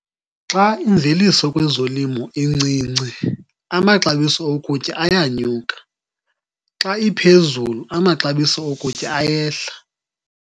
Xa imveliso kwezolimo incinci amaxabiso okutya ayanyuka, xa iphezulu amaxabiso okutya ayehla.